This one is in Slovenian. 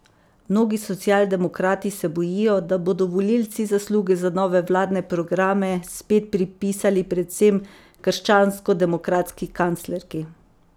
Mnogi socialdemokrati se bojijo, da bodo volivci zasluge za nove vladne programe spet pripisali predvsem krščanskodemokratski kanclerki.